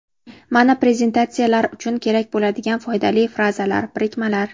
mana prezentatsiya lar uchun kerak bo‘ladigan foydali frazalar, birikmalar.